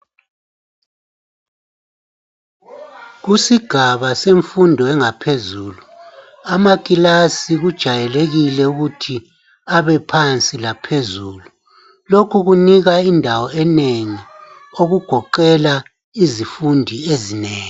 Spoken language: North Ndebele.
Kusigaba semfundo yangaphezulu amakilasi kujwayelekile ukuthi abe phansi laphezulu lokhu kunika indawo enengi okugoqela izifundi ezinengi